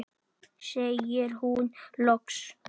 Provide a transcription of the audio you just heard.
segir hún loks.